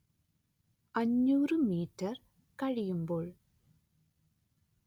അഞ്ഞൂര്‍ metre കഴിയുമ്പോൾ